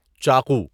چاقو